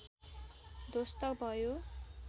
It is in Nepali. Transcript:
ध्वस्त भयो